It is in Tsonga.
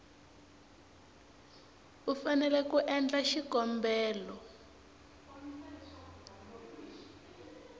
u fanele ku endla xikombelo